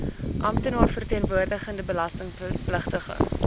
amptenaar verteenwoordigende belastingpligtige